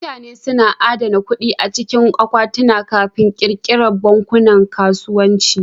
Mutane suna adana kuɗi a cikin akwatuna Kafin ƙirƙirar bankunan kasuwanci.